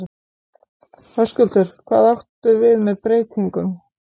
Höskuldur: Hvað áttu við með breytingum?